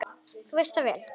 Þú veist það vel.